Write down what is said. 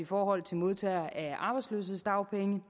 forhold til modtagere af arbejdsløshedsdagpenge